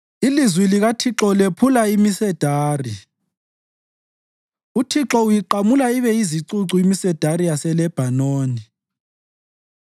Ilizwi likaThixo lephula imisedari; uThixo uyiqamula ibe yizicucu imisedari yaseLebhanoni.